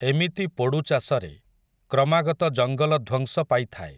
ଏମିତି ପୋଡ଼ୁଚାଷରେ, କ୍ରମାଗତ ଜଙ୍ଗଲ ଧ୍ୱଂସ ପାଇଥାଏ ।